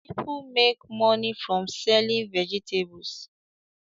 People make money from selling vegetables